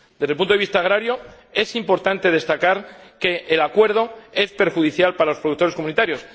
Desde el punto de vista agrario es importante destacar que el Acuerdo es perjudicial para los productores comunitarios.